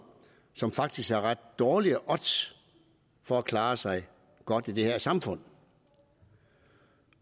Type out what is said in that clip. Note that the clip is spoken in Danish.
som faktisk har ret dårlige odds for at klare sig godt i det her samfund